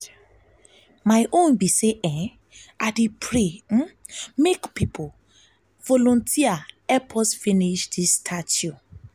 my own be say i dey pray um make people um volunteer help um us finish dis statue